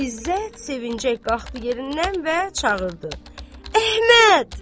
İzzət sevinciyə qalxdı yerindən və çağırdı: Əhməd!